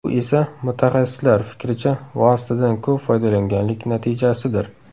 Bu esa, mutaxassislar fikricha, vositadan ko‘p foydalanganlik natijasidir.